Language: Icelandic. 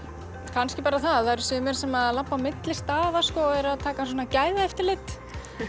kannski bara það að það eru sumir sem labba á milli staða og eru að taka svona gæðaeftirlit